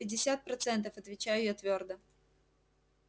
пятьдесят процентов отвечаю я твёрдо